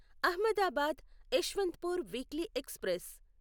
Ahmedabad Yesvantpur weekly express